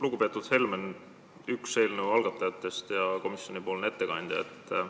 Lugupeetud Helmen, üks eelnõu algatajatest ja komisjoni ettekandja!